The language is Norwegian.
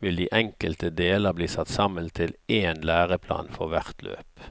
vil de enkelte deler bli satt sammen til én læreplan for hvert løp.